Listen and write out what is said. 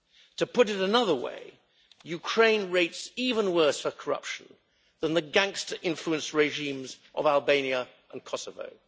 To put it another way Ukraine rates even worse for corruption than the gangster-influenced regimes of Albania and Kosovo.